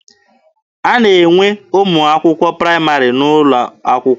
A na-enwe ụmụ akwụkwọ praịmarị n'ụlọ akwụkwọ.